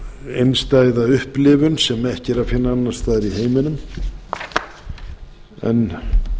einstæða upplifun sem ekki er að finna annars staðar í heiminum en